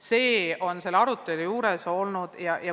See on selle arutelu juures olnud põhiline.